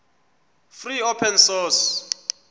free open source